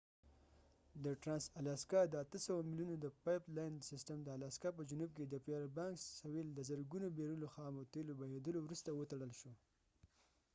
د ټرانس الاسکا د ۸۰۰ میلونو د پایپ لاین سیسټم د الاسکا په جنوب کې د فییربانکس سویل د زرګونو بیرلو خامو تیلو بهیدلو وروسته وتړل شو